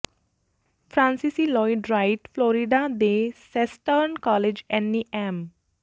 ਫ਼੍ਰਾਂਸੀਸੀ Lloyd Wright Florida ਦੇ Southern College Annie M